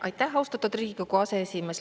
Aitäh, austatud Riigikogu aseesimees!